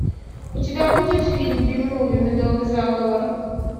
у тебя будет фильм би муви медовый заговор